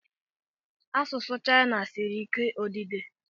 Asụsụ Chayina siri ike odide.